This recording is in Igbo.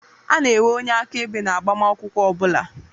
A na-enwe onye aka-ebe na agbamakwụkwọ ọbula.